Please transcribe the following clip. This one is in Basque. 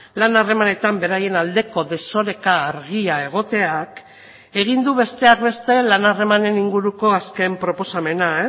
lan harremanetan beraien aldeko desoreka argia egoteak egin du besteak beste lan harremanen inguruko azken proposamena